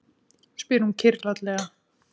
spyr hún kyrrlátlega.